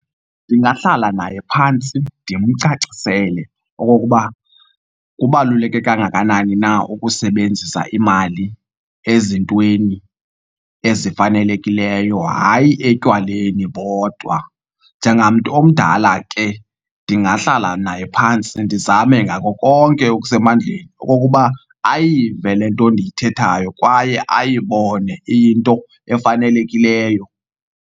Ndingahlala naye phantsi ndimcacisele okokuba kubaluleke kangakanani na ukusebenzisa imali ezintweni ezifanelekileyo, hayi etywaleni bodwa. Njengamntu omdala ke ndingahlala naye phantsi ndizame ngako konke okusemandleni okokuba ayive le nto ndiyithethayo kwaye ayibone iyinto efanelekileyo.